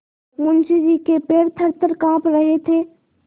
मुंशी जी के पैर थरथर कॉँप रहे थे